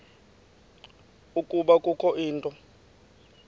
ukuba kukho into